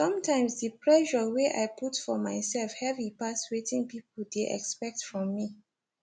sometimes the pressure wey i put for myself heavy pass wetin people dey expect from me